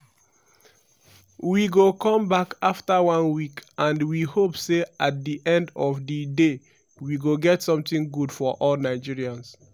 “we go come back afta one week and we hope say at di end of di day we go get something good for all nigerians.